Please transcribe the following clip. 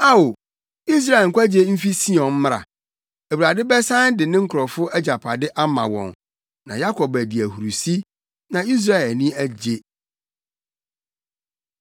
Ao, Israel nkwagye mfi Sion mmra! Awurade bɛsan de ne nkurɔfo agyapade ama wɔn. Na Yakob adi ahurusi, na Israel ani agye!